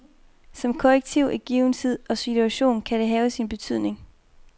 Som korrektiv i given tid og situation kan den have sin betydning.